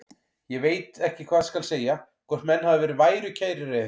Ég veit ekki hvað skal segja, hvort menn hafi verið værukærir eða eitthvað.